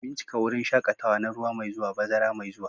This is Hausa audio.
Bincika wurin shaƙatawa na ruwa mai zuwa, bazara mai zuwa.